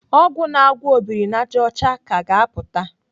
Ọgwụ na-agwọ obirinajọcha ka ga-apụta.